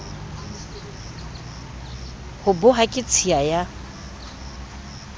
ho boha ke tshiya ya